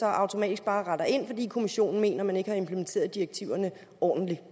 automatisk bare rette ind fordi kommissionen mener at man ikke har implementeret direktiverne ordentligt